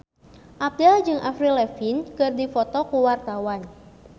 Abdel jeung Avril Lavigne keur dipoto ku wartawan